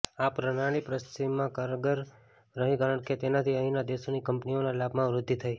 આ પ્રણાલી પશ્ચિમમાં કારગર રહી કારણ કે તેનાથી અહીંના દેશોની કંપનીઓના લાભમાં વૃદ્ધિ થઈ